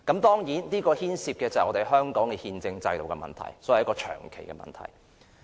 當然，這牽涉到香港的憲政制度，所以是長期的問題。